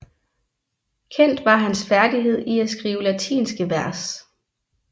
Kendt var hans færdighed i at skrive latinske vers